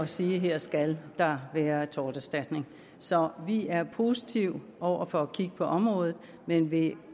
sige at her skal der være torterstatning så vi er positive over for at kigge på området men vil